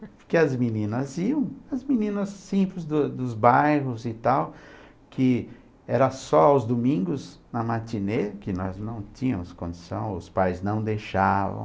Porque as meninas iam, as meninas simples do dos bairros e tal, que era só aos domingos, na matinê, que nós não tínhamos condição, os pais não deixavam.